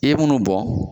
I ye munnu bɔn